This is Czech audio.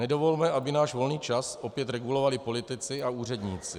Nedovolme, aby náš volný čas opět regulovali politici a úředníci.